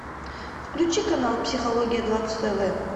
включи канал психология двадцать тв